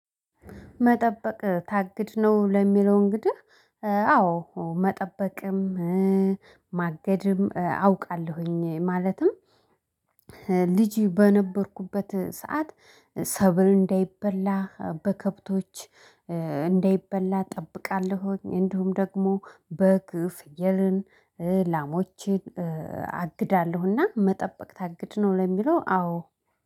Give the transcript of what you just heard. መጠበቅ ታግድ ነው ለሚለው እንግዲህ አዎ መጠበቅም ማገድም አውቃለሁኝ። ማለትም ልጅ በነበርኩበት ሰዓት ሰብል እንዳይበላ በከብቶች እንዳይበላ እጠብቃለሁ። እንዲሁም ደግሞ በግ ፍየልን ላሞችን አግዳለሁና መጠበቅ ታግድ ነው ለሚለው አዎ